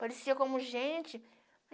Parecia como gente.